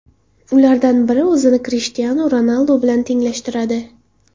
Ulardan biri o‘zini Krishtianu Ronaldu bilan tenglashtiradi.